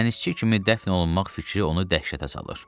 dənizçi kimi dəfn olunmaq fikri onu dəhşətə salır.